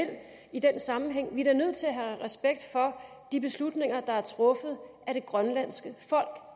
i den sammenhæng vi er da nødt til at have respekt for de beslutninger der er truffet af det grønlandske folk